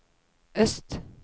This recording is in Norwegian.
øst